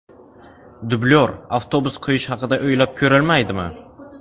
Dublyor avtobus qo‘yish haqida o‘ylab ko‘rilmaydimi?